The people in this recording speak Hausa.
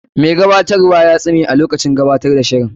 Mai gabatarwa ya tsume a lokacin gabatar da shirin.